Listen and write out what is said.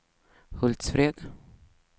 Hultsfred